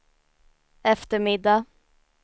eftermiddag